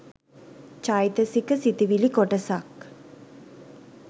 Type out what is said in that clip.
චෛතසික සිතිවිලි කොටසක්